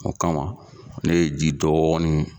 O kama ne ye ji dɔɔni